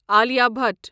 Alia Bhatt